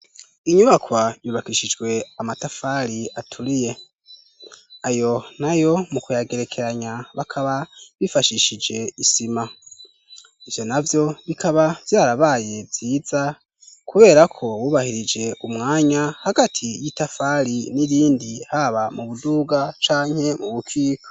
Inyubakwa yubakishijwe amatafali aturiye ayo na yo mu kuyagerekeranya bakaba bifashishije isima ivyo na vyo bikaba vyarabaye vyiza, kubera ko wubahirije umwanya hagati y'itafali n'irindi haba mu buduga ca a nkemu ubukika.